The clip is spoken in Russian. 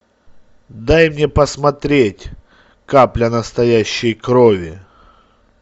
дай мне посмотреть капля настоящей крови